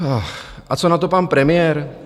A co na to pan premiér?